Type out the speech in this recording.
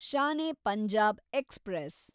Shan e Punjab express